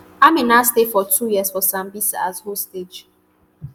amina stay for two years for sambisa as hostage